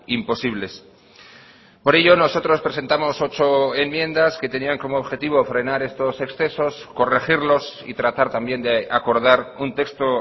imposibles por ello nosotros presentamos ocho enmiendas que tenían como objetivo frenar estos excesos corregirlos y tratar también de acordar un texto